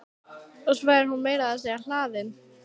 Og svo er hún meira að segja hlaðin.